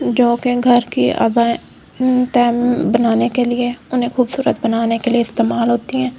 जो कि घर की अब आए उम्म तन बनाने के लिए उन्हें खूबसूरत बनाने के लिए इस्तेमाल होती हैं।